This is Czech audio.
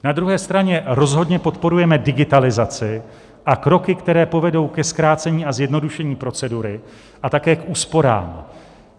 Na druhé straně rozhodně podporujeme digitalizaci a kroky, které povedou ke zkrácení a zjednodušení procedury a také k úsporám.